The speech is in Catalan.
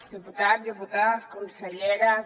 diputats diputades conselleres